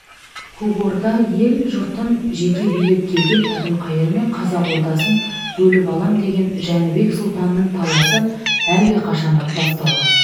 көк орда ел-жұртын жеке билеп келген әбілқайыр мен қазақ ордасын бөліп алам деген жәнібек сұлтанның таласы әлдеқашан-ақ басталған